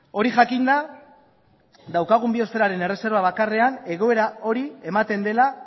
hori jakinda daukagun biosferaren erreserba bakarrean egoera hori ematen dela